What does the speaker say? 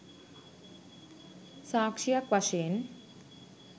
සාක්‍ෂියක් වශයෙන්